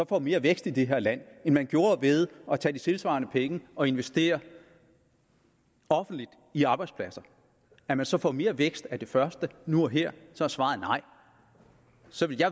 får mere vækst i det her land end man gjorde ved at tage de tilsvarende penge og investere dem offentligt i arbejdspladser at man så får mere vækst af det første nu og her så er svaret nej så